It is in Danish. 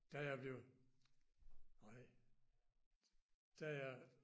Da jeg blev nej da jeg